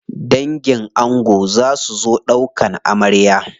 Dangin ango za su zo ɗaukan amarya.